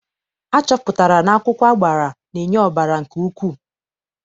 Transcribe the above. Achọpụtara na akwụkwọ agbara na-enye ọbara nke ukwuu.